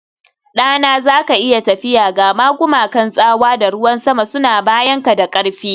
Ɗana, za ka iya tafiya, gama gumakan tsawa da ruwan sama suna bayanka da ƙarfi